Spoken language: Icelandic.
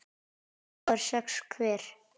tveir fái sex hver